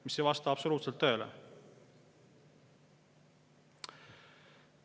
See ei vasta absoluutselt tõele.